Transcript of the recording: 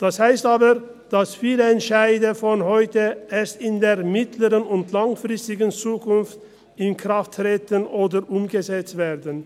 Das heisst aber, dass viele Entscheide von heute erst in der mittel- und langfristigen Zukunft in Kraft treten oder umgesetzt werden.